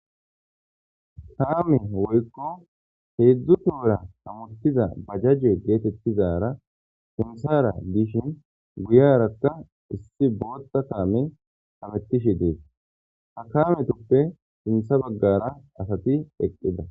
Kaame woyko hezdzdu tohora hamutiza bajaje betetizara sinthara dishin guyaraka issi Bootha kaamey hametishe desi. Ha kaametuppe sintha bagara asati eqida .